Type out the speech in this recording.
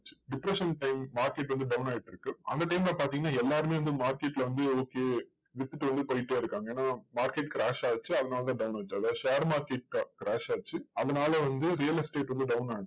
depression time market வந்து down ஆயிட்டு இருக்கு. அந்த time ல பாத்தீங்கன்னா, எல்லாருமே வந்து market ல வந்து okay வித்துட்டு வந்து போயிட்டே இருக்காங்க. ஏன்னா market crash ஆச்சு. அதனால தான் down ஆச்சு. அதாவது share market crash ஆச்சு. அதனால வந்து real estate வந்து down ஆச்சு.